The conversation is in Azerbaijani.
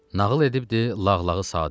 Nağıl edibdi Lağlağı Sadıq.